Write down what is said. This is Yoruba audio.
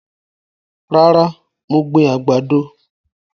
Rárá, mo gbìn àgbàdo